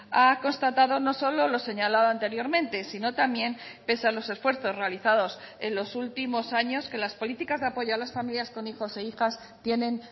ha constatado no solo lo señalado anteriormente sino también pese a los esfuerzos realizados en los últimos años que las políticas de apoyo a las familias con hijos e hijas tienen